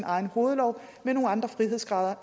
egen hovedlov med nogle andre frihedsgrader